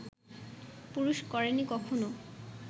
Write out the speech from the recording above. পুরুষ করেনি কখনও